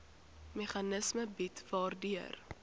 meganisme bied waardeur